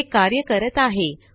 हे कार्य करत आहे